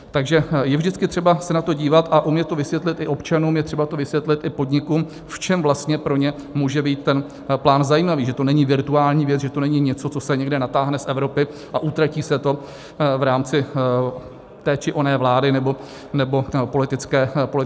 Takže je vždycky třeba se na to dívat a umět to vysvětlit i občanům, je třeba to vysvětlit i podnikům, v čem vlastně pro ně může být ten plán zajímavý, že to není virtuální věc, že to není něco, co se někde natáhne z Evropy a utratí se to v rámci té či oné vlády nebo politické sestavy.